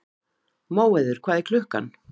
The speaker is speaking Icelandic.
Móheiður, hvað er klukkan?